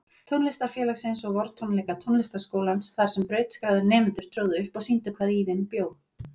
Tónlistarfélagsins og vortónleika Tónlistarskólans þarsem brautskráðir nemendur tróðu upp og sýndu hvað í þeim bjó.